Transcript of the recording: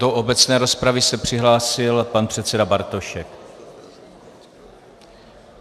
Do obecné rozpravy se přihlásil pan předseda Bartošek.